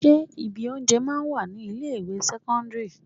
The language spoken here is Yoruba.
Ṣé ibi oúnjẹ máa ń wà ní ilé ìwé sẹ́kọ́ńdírì?